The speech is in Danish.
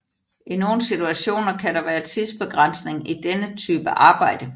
I nogle situationer kan der være tidsbegrænsning i denne type arbejde